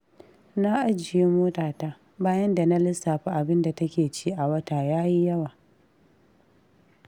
Na ajiye motata, bayan da na lissafa abinda take ci a wata ya yi yawa.